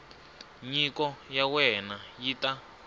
nyiko ya wena yi ta